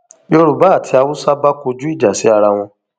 yorùbá àti haúsá bá kọjú ìjà sí ara wọn